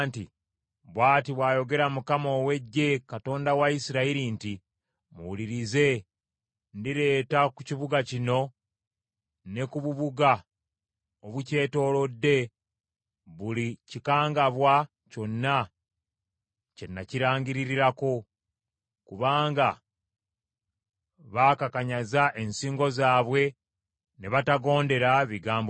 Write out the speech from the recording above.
“Bw’ati bw’ayogera Mukama ow’Eggye, Katonda wa Isirayiri nti, ‘Muwulirize, ndireeta ku kibuga kino ne ku bubuga obukyetoolodde buli kikangabwa kyonna kye nakirangirirako, kubanga baakakanyaza ensingo zaabwe ne batagondera bigambo byange.’ ”